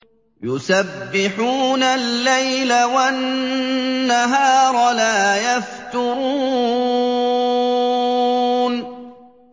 يُسَبِّحُونَ اللَّيْلَ وَالنَّهَارَ لَا يَفْتُرُونَ